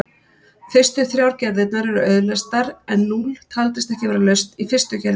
Fyrstu þrjár gerðirnar eru auðleystar en núll taldist ekki vera lausn í fyrstu gerðinni.